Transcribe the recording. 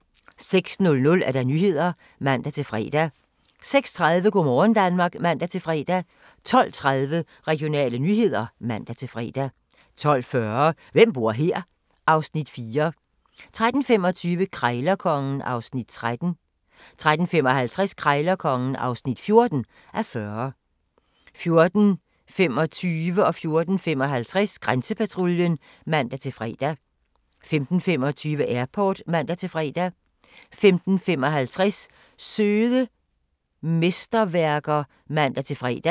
06:00: Nyhederne (man-fre) 06:30: Go' morgen Danmark (man-fre) 12:30: Regionale nyheder (man-fre) 12:40: Hvem bor her? (Afs. 4) 13:25: Krejlerkongen (13:40) 13:55: Krejlerkongen (14:40) 14:25: Grænsepatruljen (man-tir) 14:55: Grænsepatruljen (man-fre) 15:25: Airport (man-fre) 15:55: Søde mesterværker (man-fre)